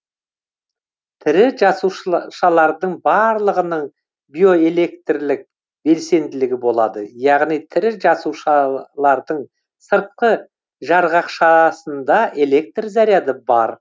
тірі жасушышалардың барлығының биоэлектрлік белсенділігі болады яғни тірі жасушаалардың сыртқы жарғақшаасында электр заряды бар